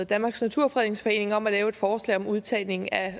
danmarks naturfredningsforening om at lave et forslag om udtagning af